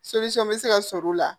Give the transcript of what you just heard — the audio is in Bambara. bɛ se ka sɔrɔ u la